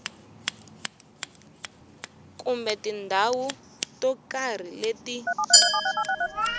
kumbe tindhawu to karhi leti